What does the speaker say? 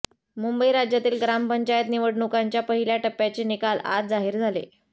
मुंबई राज्यातील ग्रामपंचायत निवडणुकांच्या पहिल्या टप्प्याचे निकाल आज जाहीर झाले